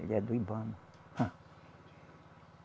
Ele é do Ibama. Ah